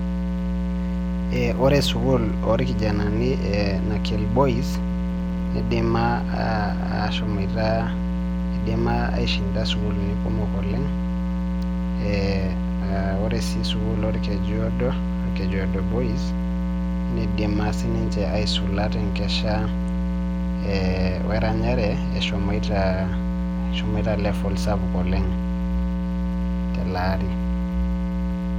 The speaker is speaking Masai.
ee ore sukuul orkijanani e nakel boys neidima aah ashomoita eidima ashinda sukuuluni kumok oleng eeh aah ore sii sukuul orkrjuodo, orkrjuodo boys neidima sii ninche aisula te nkesha ee weranyare eshomoita eshomoita level sapuk oleng tele aari.